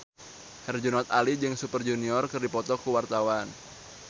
Herjunot Ali jeung Super Junior keur dipoto ku wartawan